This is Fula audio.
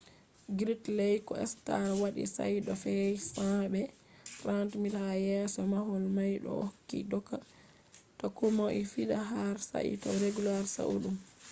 gridley ko stark wadi shaida feet 100 be 30 m ha yeso mahol mai bo ohokki doka ta komoi fiɗa har sai ta regulars saali ɗum